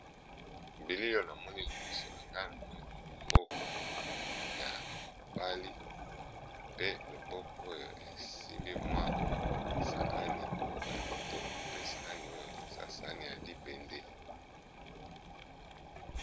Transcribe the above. bilio na moni liboso na nga na moni mwa loboko ya mobali pe loboko oyo esimbi mwa saani moko ya kitoko pe saani oyo eza sani ya libende .